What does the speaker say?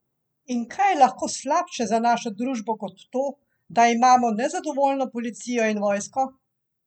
In kaj je lahko slabše za našo družbo kot to, da imamo nezadovoljno policijo in vojsko?